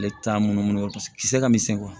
Ale t'a munumunu kisɛ ka misɛn